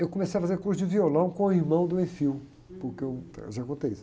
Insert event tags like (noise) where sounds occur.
Eu comecei a fazer curso de violão com o irmão do, (unintelligible) porque eu, eh, já contei isso.